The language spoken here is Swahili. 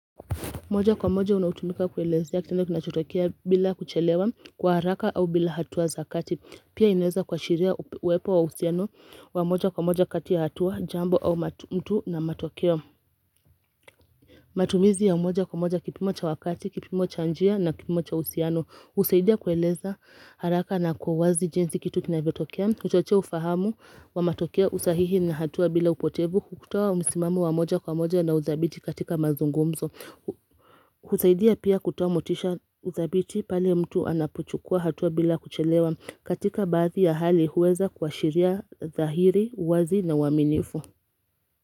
Moja kwa moja unaotumika kuelezea kitendo kinachotokea bila kuchelewa kwa haraka au bila hatua zakati Pia inaweza kuashiria uwepo wa uhusiano wa moja kwa moja kati ya hatua jambo au mtu na matokeo matumizi ya moja kwa moja kipimocha wakati, kipimocha njia na kipimocha uhusiano husaidia kueleza haraka na kwa uwazi jinsi kitu kinavyo tokea huchochea ufahamu wa matokeo usahihi na hatua bila upotevu hutoa msimamo wa moja kwa moja na udhabiti katika mazungumzo husaidia pia kutoamotisha dhabiiti pale mtu anapochukua hatua bila kuchelewa katika baadhi ya hali huweza kua shiria dhahiri, uwazi na uwaminifu.